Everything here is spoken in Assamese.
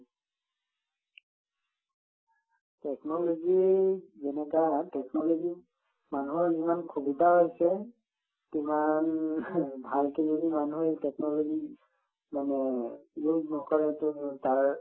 technology যেনেকুৱা technology ত মানুহৰ যিমান সুবিধা হৈছে সিমান ভালকৈ যদি মানুহে technology মানে use নকৰেতো তাৰ